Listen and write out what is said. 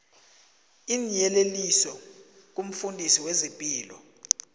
iinyeleliso kumfundisi wezepilo